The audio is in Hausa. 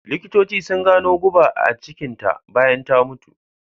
Likitocin su gano guba a cikin ta bayan ta mutu